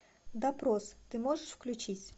допрос ты можешь включить